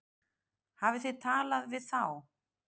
Hafið þið talað við þá?